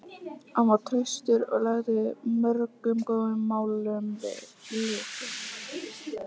Hann var traustur og lagði mörgum góðum málum lið.